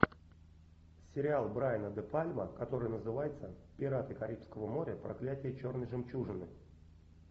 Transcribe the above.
сериал брайана де пальма который называется пираты карибского моря проклятие черной жемчужины